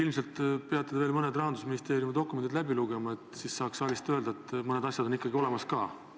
Ilmselt peate te veel mõned Rahandusministeeriumi dokumendid läbi lugema, siis saaks saalist öelda, et mõned asjad on ikkagi olemas ka.